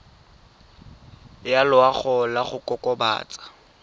ya loago ya go kokobatsa